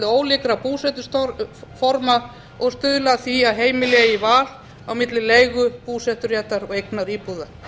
ólíkra búsetuforma og stuðla að því að heimili eigi val á milli leigu búseturéttar og eignaríbúða